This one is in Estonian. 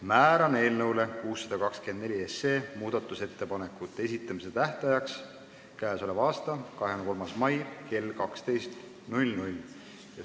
Määran eelnõu 624 muudatusettepanekute esitamise tähtajaks k.a 23. mai kell 12.